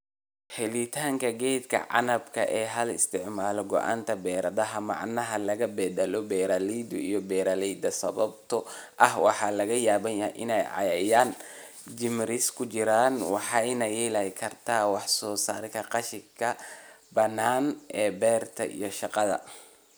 "Helitaanka geedka canabka ah Ha isticmaalin gooynta baradhada macaan ee laga beddelo beeralayda iyo beeralayda sababtoo ah waxaa laga yaabaa in ay cayayaan jeermis ku jiraan waxayna yareyn kartaa wax soo saarka, qashinka bannaan ee beerta iyo shaqada."